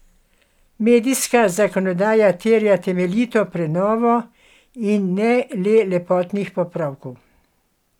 Medijska zakonodaja terja temeljito prenovo in ne le lepotnih popravkov.